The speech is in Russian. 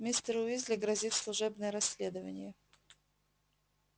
мистеру уизли грозит служебное расследование